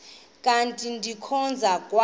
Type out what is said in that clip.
kanti ndikhonza kwa